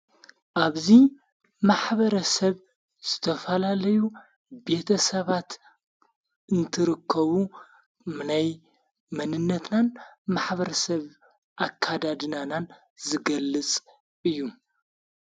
ኣብዙይ ማኅበረሰብ ዝተፋላለዩ ቤተ ሰባት እንትርከቡ መናይ መንነትናን ማኅበረሰብ ኣካዳድናናን ዝገልጽ እዩ።